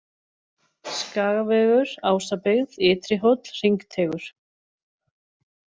Skagavegur, Ásabyggð, Ytri Hóll, Hringteigur